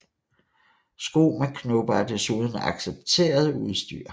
Sko med knopper er desuden accepteret udstyr